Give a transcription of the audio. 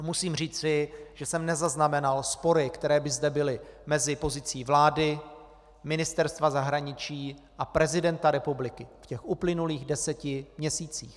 A musím říci, že jsem nezaznamenal spory, které by zde byly mezi pozicí vlády, Ministerstva zahraničí a prezidenta republiky v těch uplynulých deseti měsících.